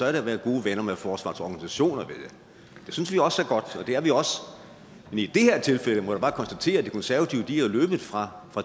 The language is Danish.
at være gode venner med forsvarets organisationer det synes vi også er godt og i det her tilfælde må jeg bare konstatere at de konservative er løbet fra